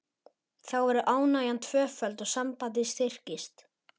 Þá verður ánægjan tvöföld og sambandið styrkist.